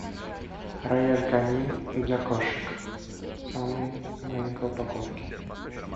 рояль канин для кошек в самой маленькой упаковке